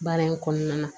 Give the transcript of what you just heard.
Baara in kɔnɔna na